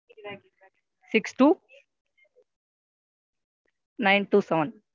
Six two Nine two seven,